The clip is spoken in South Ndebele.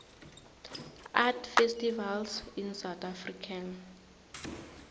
art festivals in south african